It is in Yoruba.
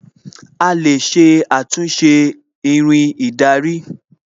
A lè ṣe àtúnṣe Irin ìdarí